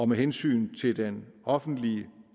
med hensyn til den offentlige